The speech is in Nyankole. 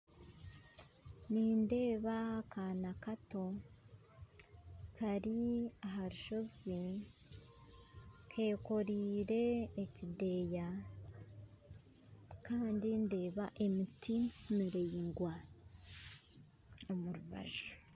Nindeeba akaana kato kari aha rushoozi kekoreire ekideeya kandi ndeeba emiti miraingwa omurubaju